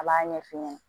A b'a ɲɛ f'i ɲɛna